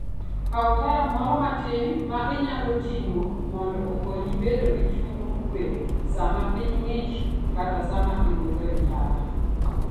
Kaw taya moro matin ma inyalo ting'o, mondo okonyi bedo gi chuny mokuwe sama piny ng'ich kata sama iwuotho e ndara.